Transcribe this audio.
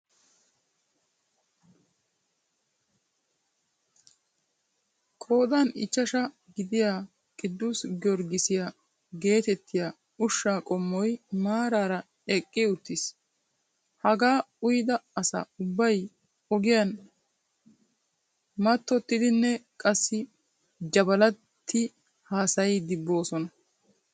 Qoodan ichchashshaa gidiyaa qidus giyoorgisiyaa gettettiyaa ushshaa qoommoy maarara eqqi uttiis. Hagaa uyyida asa ubbay ogiyaan mattotiidinne qassi jabalatti hasayiidi boosona.